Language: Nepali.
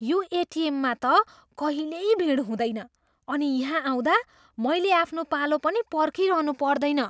यो एटिएममा त कहिल्यै भिड हुँदैन अनि यहाँ आउँदा मैले आफ्नो पालो पनि पर्खिरहनु पर्दैन।